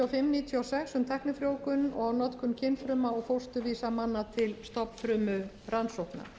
og sex um tæknifrjóvgun og notkun kynfrumna og fósturvísa manna til stofnfrumurannsókna